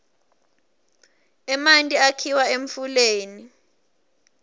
emanti akhiwa emfuleni